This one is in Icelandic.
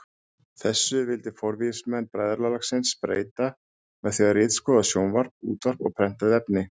Þessu vildi forvígismenn bræðralagsins breyta með því að ritskoða sjónvarp, útvarp og prentuð efni.